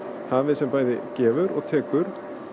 hafið sem bæði gefur og tekur